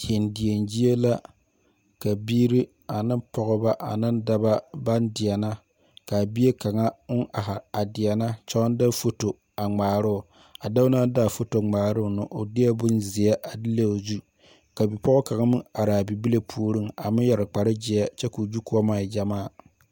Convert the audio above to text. Deɛdeɛgyie la ka biiri ane pɔgeba ane daba baŋ deɛnɛ k,a bie kaŋa oŋ ahi a deɛnɛ kyɛ baŋ de foto a ŋmaara o a dɔɔ na naŋ de a foto ŋmaara o na o deɛ bonzeɛ a leŋ o zu ka bipɔga kaŋ meŋ are a bibile puoriŋ a meŋ yɛre kpargyeɛ kyɛ k,o gyu kɔma e gyɛmaa.